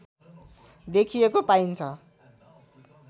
देखिएको पाइन्छ